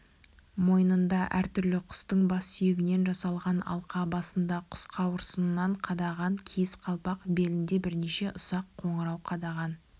мойнында әртүрлі құстың бас сүйегінен жасалған алқа басында құс қауырсынын қадаған киіз қалпақ белінде бірнеше ұсақ қоңырау қадаған